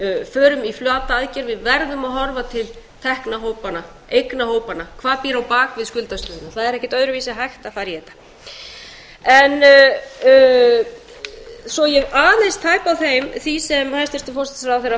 förum í flata aðgerð við verðum að horfa til tekna hópanna eigna hópanna hvað býr á bak við skuldastöðuna öðruvísi er ekkert hægt að fara í þetta svo ég aðeins tæpi á því sem hæstvirtur forsætisráðherra